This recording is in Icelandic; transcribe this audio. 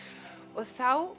og þá